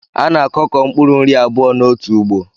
A na-akọko mpkuru nri abụọ n’otu ugbo